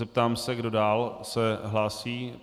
Zeptám se, kdo dál se hlásí.